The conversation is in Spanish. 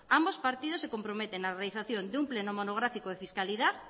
ambos partidos se comprometen a la realización de un pleno monográfico de fiscalidad